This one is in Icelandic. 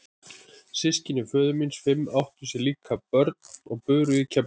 Systkini föður míns fimm áttu sér líka börn og buru í Keflavík.